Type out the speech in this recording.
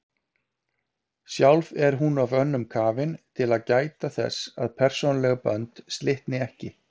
Sjálf er hún of önnum kafin til að gæta þess að persónuleg bönd slitni ekki.